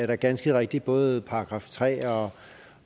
der ganske rigtigt både § tre og